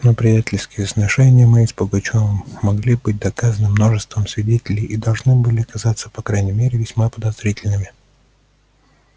но приятельские сношения мои с пугачёвым могли быть доказаны множеством свидетелей и должны были казаться по крайней мере весьма подозрительными